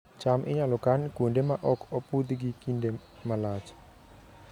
cham inyalo kan kuonde ma ok opudhgi e kinde malach